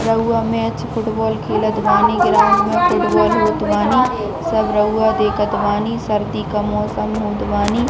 रउवा match football खेलत बानी ग्राउंड में फुटबॉल होवत बानी सब रउवा देखत बानी सर्दी का मौसम होवत बानी--